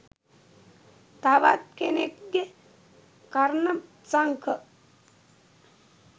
තවත් කෙනෙක්ගෙ කර්ණ සංඛ